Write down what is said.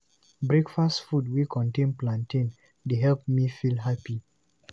Breakfast food wey contain plantain dey make me feel happy.